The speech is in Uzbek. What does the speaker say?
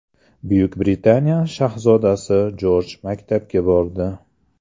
Buyuk Britaniya shahzodasi Jorj maktabga bordi.